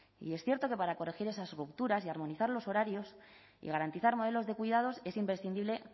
y es cierto que para corregir esas rupturas y armonizar los horarios y garantizar modelos de cuidados es imprescindible